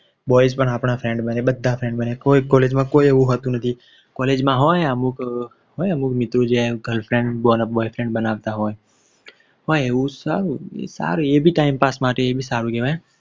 Boys પણ આપણા friend બને બધા friend બને કોઈક College માં કોઈ એવું હોતું નથી College માં હોય અમુક મિત્રો કે જે Girl Friend Boy Friend બનાવતા હોય એ બી time pass માટે સારું કેવાય